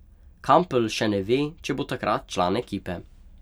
Kampl še ne ve, če bo takrat član ekipe.